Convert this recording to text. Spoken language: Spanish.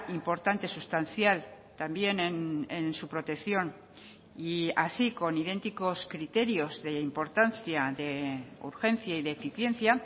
importante sustancial también en su protección y así con idénticos criterios de importancia de urgencia y de eficiencia